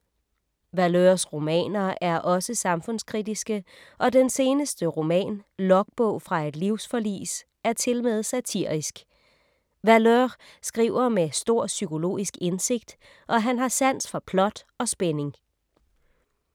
Valeurs romaner er også samfundskritiske og den seneste roman Logbog fra et livsforlis er tilmed satirisk. Valeur skriver med stor psykologisk indsigt og han har sans for plot og spænding.